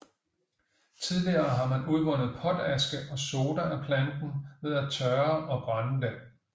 Tidligere har man udvundet potaske og soda af planten ved at tørre og brænde den